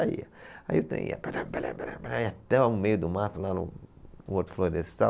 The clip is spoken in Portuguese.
Aí o trem ia, barabarabara, até o meio do mato, lá no Horto florestal.